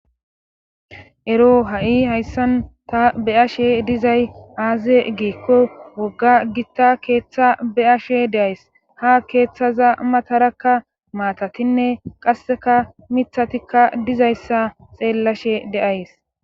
ero ha7i hayssan ta be'ashe dizay aaze giikko wogga gitta keeththa be'ashe de'ays ha keeththaza matarakka maatatinne qasseka mithatikka dizayssa xeellashe de7ays